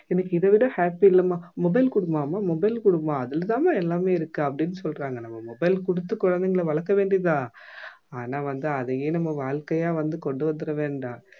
எனக்கு இதவிட happy இல்லம்மா mobile குடும்மா அம்மா mobile குடும்மா அதுல தான்மா எல்லாமே இருக்கு அப்படின்னு சொல்றாங்க நம்ம mobile குடுத்து குழந்தைங்கள வளர்க்க வேண்டியது தான் ஆனா வந்து அதையே நம்ம வாழ்க்கையா வந்து கொண்டு வந்திட வேண்டாம்